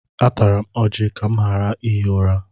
Atara m ọjị ka m ghara ihi ụra.